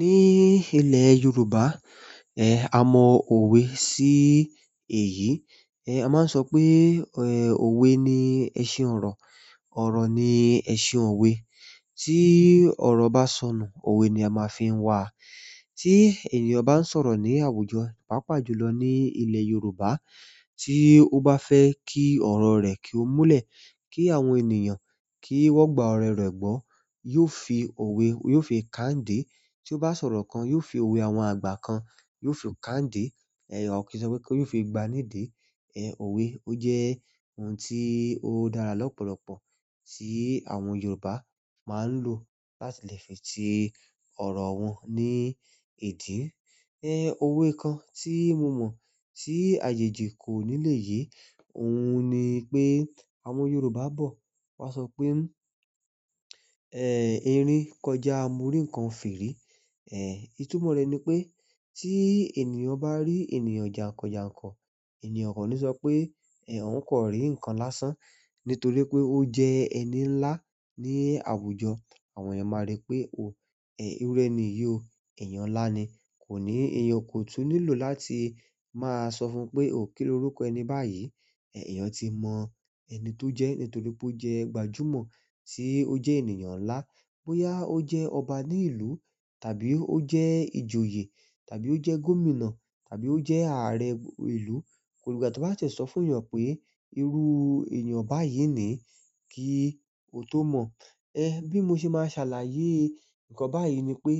Ní ilẹ̀ Yorùbá, a mọ òwe sí èyí. A máa ń sọ pé òwe ni ẹṣin ọ̀rọ̀, ọ̀rọ̀ ni ẹṣin òwe. Tí ọ̀rọ̀ bá sọnù, òwe ni a máa fi ń wà á. Ti ènìyàn ba n sọ̀rọ̀ ni àwùjọ, paapaa jùlọ ni ile Yoruba, ti o ba fe ki oro re ki o mule, ki àwọn ènìyàn ki wo gba oro re gbo, yio fi owe yio fi ka nidi. Tí ó bá sọ̀rọ̀ kan, yóò fi òwe àwọn àgbà kan, yóò fi kàndé. Ẹ̀, ò kí n sọ pé ki yóò fi gba nidi. Ẹ̀, òwe ó jẹ́ ohun tí ó dára lọ́pọ̀lọpọ̀ tí àwọn Yorùbá máa ń lò láti lè fi ti ọ̀rọ̀ wọn ní ìdí. Ẹ̀, òwe kan tí mo mọ̀ tí àjèjì kò ní lè yé, òun ni pé àwọn Yorùbá bọ̀, wọ́n sọ pé, "ẹ́, erin kọjá, mo rí ǹkan firi." Ehn, itumo re ni pe ti ènìyàn ba ri ènìyàn jakanjakan, ènìyàn o kan ni so pe oun kan ri nkan lásán. Nítorí pé ó jẹ́ ẹni ńlá ní àwùjọ, àwọn èèyàn máa rí pé, "òh, ẹ́, irú ẹni yìí o, èèyàn ńlá ni." Ko ni, eeyan o ko tun nílò láti ma so fún pe oh kiloruko ẹni bayi ẹ̀, èèyàn ti mọ ẹni tó jẹ́ nítorí pé ó jẹ́ gbajúmọ̀, tí ó jẹ́ ènìyàn ńlá. Bóyá ó jẹ́ ọba ní ìlú tàbí ó jẹ́ ìjòyè tàbí ó jẹ́ gómìnà tàbí ó jẹ́ ààrẹ ìlú, kò ìlúga tí wọ́n bá tie sọ fún èèyàn pé irú èèyàn báyìí ni kí o tó mọ̀. Ẹ̀, bí mo ṣe máa ṣàlàyé ǹkan báyìí ni pé,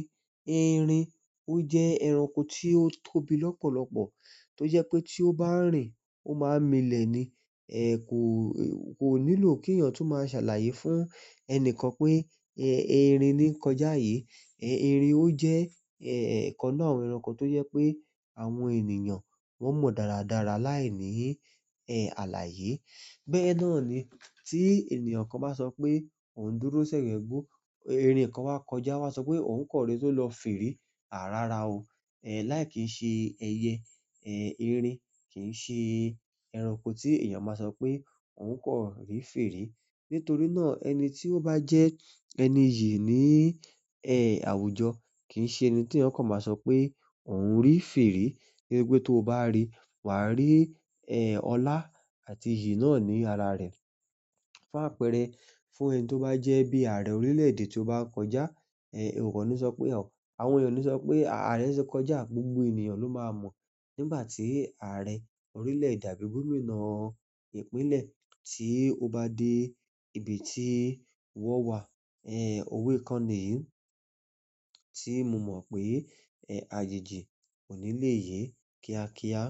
erin ó jẹ́ ẹranko tí ó tóbi lọ́pọ̀lọpọ̀ tó jẹ́ pé tí ó bá rìn ó máa milẹ̀ ni. Ẹ̀, kò, kò nílò kí èèyàn tún máa ṣàlàyé fún ẹnikan pé, ẹ́, erin ni kọjá yìí. Ẹ̀, erin ó jẹ́, ẹ́, ikan nínú àwọn ẹranko tó jẹ́ pé àwọn ènìyàn wọ́n mọ dáradára láìní, ẹ́, àlàyé. Bẹ́ẹ̀ náà ni tí ènìyàn kan bá sọ pé òun dúró sẹ̀gẹ́gbọ́, erin kan wá kọjá, o wa sọ pé òun kan rí tó lọ firi. À rara o. Ẹ̀, láì kìí ṣe ẹyẹ, ẹ́, erin kì ń ṣe ẹranko tí èèyàn máa sọ pé òun kan rí firi. Nítorí náà ẹni tí ó bá jẹ́ ẹni iyi ní, ẹ́, àwùjọ kì ń ṣe ẹni tí èèyàn kan máa sọ pé òun rí firi. Nítorí pé tó bá rí, wà á rí, ẹ́, ọlá àti iyi náà ní ara rẹ̀. Fún àpẹẹrẹ, fún ẹni tó bá jẹ́ bí ààrẹ orílẹ̀-èdè tí ó bá kọjá, ẹ̀, o kan ní sọ pé, àwọn èèyàn ò ní sọ pé ààrẹ ti kọjá, gbogbo ènìyàn ló máa mọ̀ nígbà tí ààrẹ orílẹ̀-èdè àbí gominá ìpínlẹ̀ tí ó bá dé ibi tí wọ́n wà. Ẹ̀, òwe kan nìyí tí mo mọ̀ pé, ẹ́, àjèjì kò ní lè yé kíákíá.